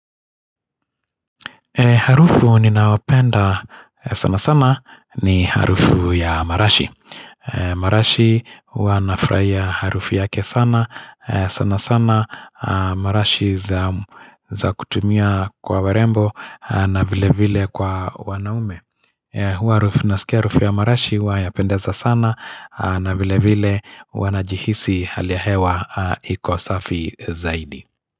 Harufu ninaopenda sana sana ni harufu ya marashi marashi huwanafraia harufu yake sana sana sana marashi za kutumia kwa warembo na vile vile kwa wanaume Huwa harufu nasikia harufu ya marashi huwa yapendeza sana na vile vile wanajihisi hali ya hewa iko safi zaidi.